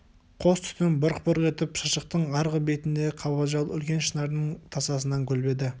қос түтін бұрқ-бұрқ етіп шыршықтың арғы бетіндегі қабажал үлкен шынардың тасасынан көлбеді